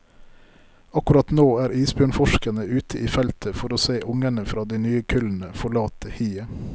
Akkurat nå er isbjørnforskerne ute i feltet for å se ungene fra de nye kullene forlate hiet.